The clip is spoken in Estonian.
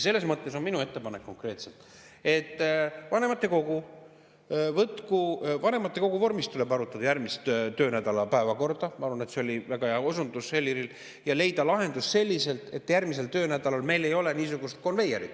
Selles mõttes on minu ettepanek konkreetselt, et vanematekogu vormis tuleb arutada järgmise töönädala päevakorda – ma arvan, et see oli väga hea osundus Heliril – ja leida lahendus selliselt, et järgmisel töönädalal meil ei oleks niisugust konveierit.